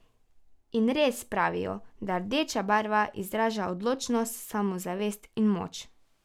In res, pravijo, da rdeča barva izraža odločnost, samozavest in moč.